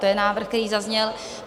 To je návrh, který zazněl.